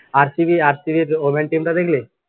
RCBRCB এর woman টা দেখলি।